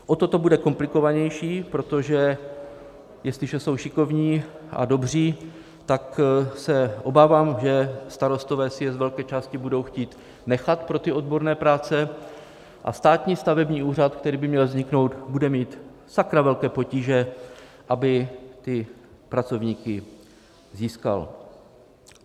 O to to bude komplikovanější, protože, jestliže jsou šikovní a dobří, tak se obávám, že starostové si je z velké části budou chtít nechat pro odborné práce a Státní stavební úřad, který by měl vzniknout, bude mít sakra velké potíže, aby ty pracovníky získal.